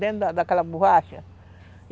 Dentro daquela borracha.